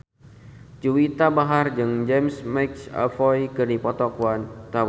Juwita Bahar jeung James McAvoy keur dipoto ku wartawan